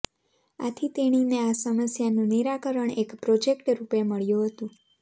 આથી તેણીને આ સમસ્યાનું નિરાકરણ એક પ્રોજેક્ટ રૂપે મળ્યું હતું